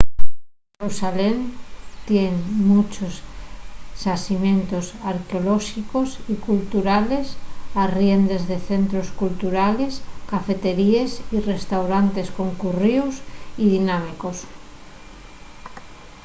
xerusalén tien munchos xacimientos arqueolóxicos y culturales arriendes de centros culturales cafeteríes y restaurantes concurríos y dinámicos